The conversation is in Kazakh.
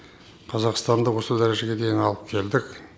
қазақстанды осы дәрежеге дейін алып келдік